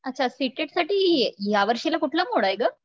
अच्छा सीटेट साठी यावर्षीला कुठला मोड आहे ग?